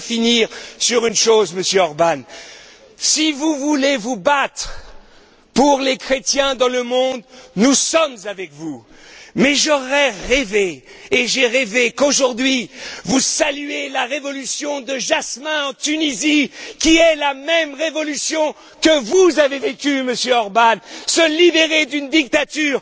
dis. Je veux finir sur une chose, Monsieur Orbán. Si vous voulez vous battre pour les chrétiens dans le monde, nous sommes avec vous, mais j'aurais rêvé et j'ai rêvé qu'aujourd'hui, que vous saluiez la révolution de jasmin en Tunisie, qui est la même révolution que vous avez vécue, Monsieur Orbán se libérer d'une dictature.